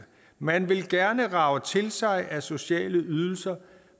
man vil gerne rage til sig af sociale ydelser